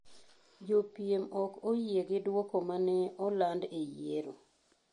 Jopiem ok oyie gi duoko ma ne oland e yiero.